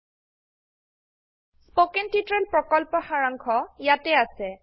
httpspoken tutorialorgWhat is a Spoken tutorial spoken tutorial প্ৰকল্পৰ সাৰাংশ ইয়াতে আছে